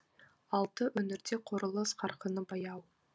алты өңірде құрылыс қарқыны баяу